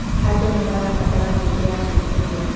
Andũ nĩ marabatara mĩeke ya gũĩkũria.